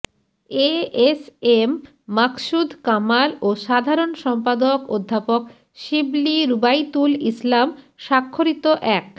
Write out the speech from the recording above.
ASM Maksud Kamal ও সাধারণ সম্পাদক অধ্যাপক শিবলী রুবাইতুল ইসলাম স্বাক্ষরিত এক